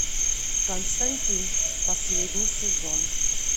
константин последний сезон